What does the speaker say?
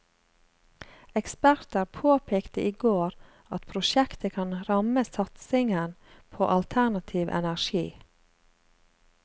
Eksperter påpekte i går at prosjektet kan ramme satsingen på alternativ energi.